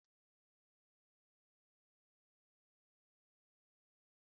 Hana hụrụ anụ ewu n'anya na ofe ose nne ya.